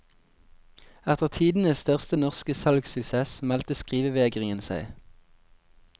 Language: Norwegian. Etter tidenes største norske salgssuksess meldte skrivevegringen seg.